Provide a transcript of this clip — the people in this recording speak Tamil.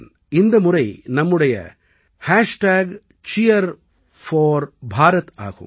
இந்த முறை நம்முடைய Cheer4Bharat ஆகும்